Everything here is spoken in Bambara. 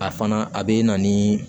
A fana a bɛ na ni